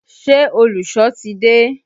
Ṣé olùsọ ti dé?